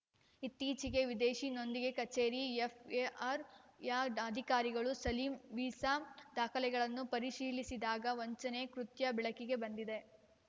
ಇತ್ತೀಚಿಗೆ ವಿದೇಶಿ ನೋಂದಿಗೆ ಕಚೇರಿ ಎಫ್‌ಆರ್‌ಒಯ ಅಧಿಕಾರಿಗಳು ಸಲೀಂ ವೀಸಾ ದಾಖಲೆಗಳನ್ನು ಪರಿಶೀಲಿಸಿದಾಗ ವಂಚನೆ ಕೃತ್ಯ ಬೆಳಕಿಗೆ ಬಂದಿದೆ